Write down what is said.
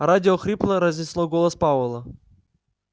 радио хрипло разнесло голос пауэлла